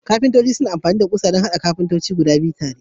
Kafintoci suna amfani da kusoshi don haɗa katako guda biyu tare.